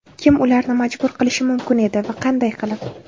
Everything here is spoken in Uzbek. Kim ularni majbur qilishi mumkin edi va qanday qilib?